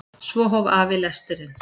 Svo hóf afi lesturinn.